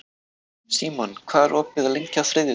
Símon, hvað er opið lengi á þriðjudaginn?